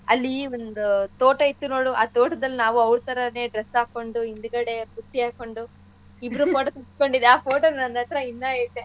ಅಲ್ಲೀ ಒಂದು ತೋಟ ಇತ್ತು ನೋಡು ಆ ತೋಟದಲ್ಲಿ ನಾವು ಅವ್ರ ಥರಾನೇ dress ಹಾಕ್ಕೊಂಡು ಹಿಂದ್ಗಡೆ ಬುಟ್ಟಿ ಹಾಕ್ಕೊಂಡು ಇಬ್ರು photo ತಗಸ್ಕೊಂಡಿದ್ ಆ photo ನನ್ಹತ್ರಾ ಇನ್ನೂ ಐತೆ.